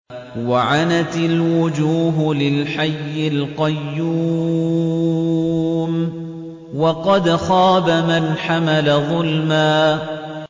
۞ وَعَنَتِ الْوُجُوهُ لِلْحَيِّ الْقَيُّومِ ۖ وَقَدْ خَابَ مَنْ حَمَلَ ظُلْمًا